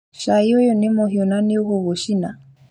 Cai ũyũ nĩ mũhiũ na nĩũgũgũcina